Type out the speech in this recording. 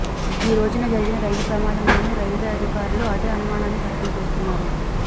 ఈ రోజు జరిగిన రైలు ప్రమాదంలోనూ రైల్వే అధికారులు అదే అనుమానాన్ని వ్యక్తం చేస్తున్నారు